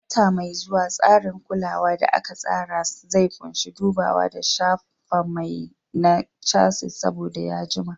A wata mai zuwa, tsarin kulawa da aka tsara zai ƙunshi dubawa da shafa mai na chassis saboda ya jima.